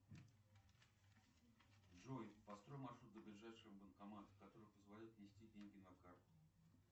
джой построй маршрут до ближайшего банкомата который позволяет внести деньги на карту